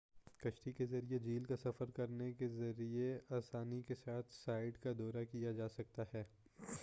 کشتی کے ذریعے جھیل کا سفر کرنے کے ذریعے آسانی کے ساتھ سائٹ کا دورہ کیا جا سکتا ہے